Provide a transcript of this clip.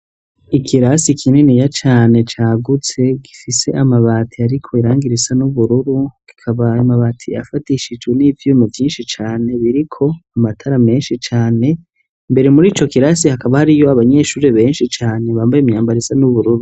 Ikirasi kininiya cane cagutse gifise amabati ariko irangi risa n'ubururu ikaba amabati afatishijwe n'ivyumi vyinshi cane biriko amatara menshi cane imbere muri co kirasi hakaba hariyo abanyeshure benshi cane bambaye imyambaro isa n'ubururu.